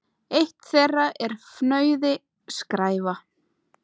Eitt þeirra er fnauði: skræfa.